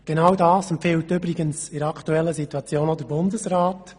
Genau das empfiehlt in der aktuellen Situation auch der Bundesrat.